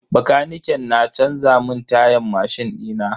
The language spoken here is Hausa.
Bakaniken na canza mun tayan mashin dina.